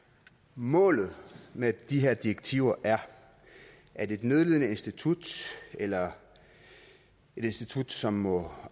målet med de her direktiver er at et nødlidende institut eller et institut som må